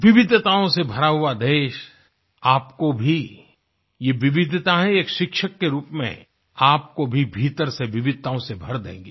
विविधिताओं से भरा हुआ देश आपको भी ये विविधिताएं एक शिक्षक के रूप में आपको भी भीतर से विविधिताओं से भर देंगे